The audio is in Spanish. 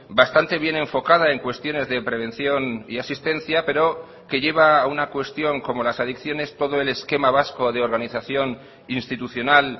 bastante bien enfocada en cuestiones de prevención y asistencia pero que lleva a una cuestión como las adicciones todo el esquema vasco de organización institucional